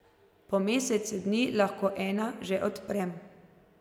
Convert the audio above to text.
Po mesecu dni lahko ena že odprem.